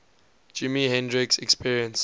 jimi hendrix experience